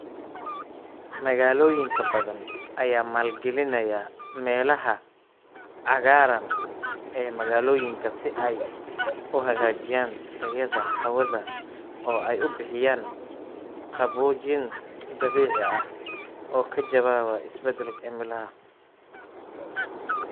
Magaalooyin badan ayaa maalgelinaya meelaha cagaaran ee magaalooyinka si ay u hagaajiyaan tayada hawada oo ay u bixiyaan qaboojin dabiici ah oo ka jawaabaya isbeddelka cimilada.